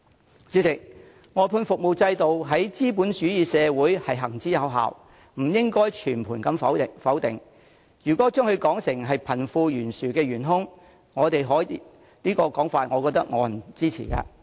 代理主席，外判服務制度在資本主義社會行之有效，不應被全盤否定，如果把它說成是導致貧富懸殊的元兇，我認為沒有人會支持這種說法。